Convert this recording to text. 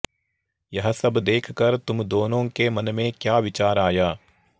यह सब देखकर तुम दोनों के मन में क्या विचार आया